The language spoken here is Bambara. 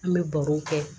An bɛ barow kɛ